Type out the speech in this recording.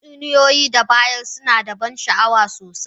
Tatsuniyoyi da ya bayar suna da ban sha'awa sosai.